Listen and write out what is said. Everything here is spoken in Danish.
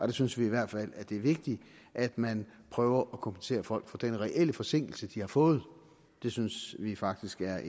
vi synes i hvert fald at det er vigtigt at man prøver at kompensere folk for den reelle forsinkelse de har fået det synes vi faktisk er